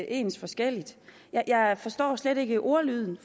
ens forskelligt jeg forstår slet ikke ordlyden